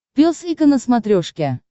пес и ко на смотрешке